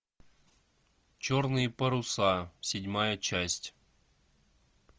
черные паруса седьмая часть